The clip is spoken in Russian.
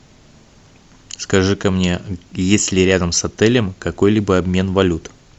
скажи ка мне есть ли рядом с отелем какой либо обмен валют